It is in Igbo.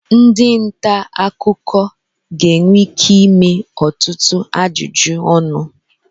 ndị nta akụkọ ga-enwe ike ịme ọtụtụ ajụjụ ọnụ